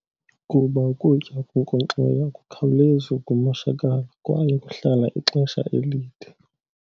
Kuba ukutya okunkonkxiweyo akukhawulezi ukumoshakala kwaye kuhlala ixesha elide.